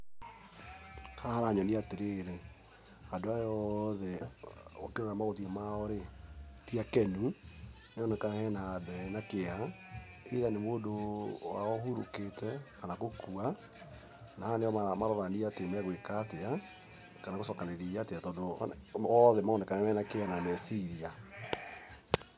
Haha haranyonia atĩrĩrĩ, andũ aya othe ũngĩrora mothiũ mao rĩ ti akenu, nĩ haroneka nĩ handũ hena kĩeha, either nĩ mũndũ wao ũhurũkĩte, kana gũkua na aya nĩo marorania atĩ megwĩka atĩa kana gũcokanĩria atĩa tondũ othe maronekana mena kĩeha na meciria.